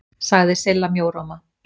sagði Silla mjóróma.